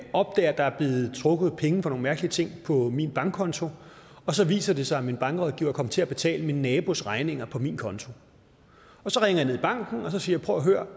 opdager at der er blevet trukket penge for nogle mærkelige ting på min bankkonto og så viser det sig at min bankrådgiver er kommet til at betale min nabos regninger fra min konto så ringer jeg ned i banken og siger prøv at høre